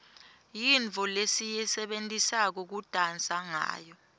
yintfo lesiyisebentisa kudansa ngawo